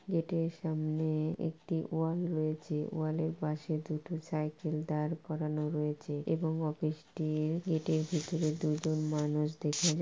Gate এর সামনে একটি অয়াল রয়েছে অয়াল এর পাশে দুটো সাইকেল দাঁড় করানো রয়েছে এবং অফিস টি-ইর গেট এর ভিতরে দুজন মানুষ দেখে ।